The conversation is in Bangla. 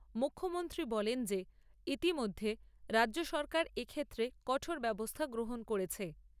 মুখ্যমন্ত্রী বলেন যে ইতিমধ্যে রাজ্য সরকার এক্ষেত্রে কঠোর ব্যবস্থা গ্রহণ করেছে।